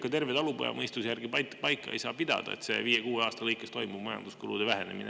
Ka terve talupojamõistuse järgi see ei saa paika pidada, et viie kuni kuue aasta pärast toimub majanduskulude vähenemine.